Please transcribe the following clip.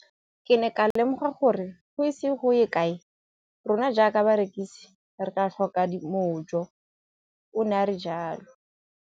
Ke ne ka lemoga gore go ise go ye kae rona jaaka barekise re tla tlhoka mojo, o ne a re jalo.